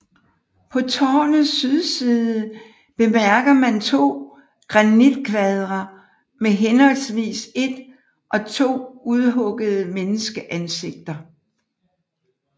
På tårnets sydside bemærker man to granitkvadre med henholdsvis et og to udhuggede menneskeansigter